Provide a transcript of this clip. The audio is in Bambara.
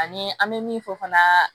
Ani an bɛ min fɔ fana